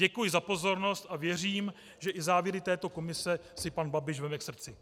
Děkuji za pozornost a věřím, že i závěry této komise si pan Babiš vezme k srdci.